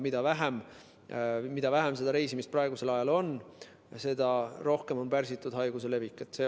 Aga mida vähem reisimist praegusel ajal on, seda rohkem on pärsitud haiguse levik.